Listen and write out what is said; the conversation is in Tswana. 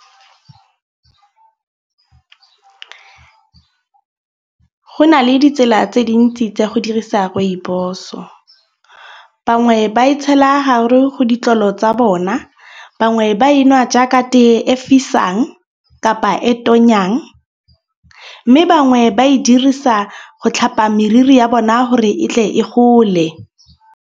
Go na le ditsela tse dintsi tsa go dirisa rooibos-o. Bangwe ba itshiela hare go ditlolo tsa bone. Bangwe ba enwa jaaka tee e fisang kapa e tonyang. Mme bangwe ba e dirisa go tlhapa meriri ya bona gore e tle e gole.